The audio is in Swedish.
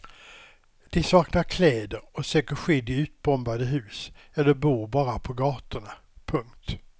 De saknar kläder och söker skydd i utbombade hus eller bor bara på gatorna. punkt